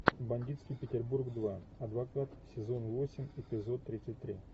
бандитский петербург два адвокат сезон восемь эпизод тридцать три